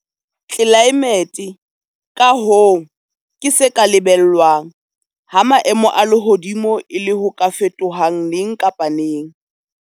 Tlelaemete, ka hoo, ke se ka lebellwang, ha maemo a lehodimo e le ho ka fetohang neng kapa neng.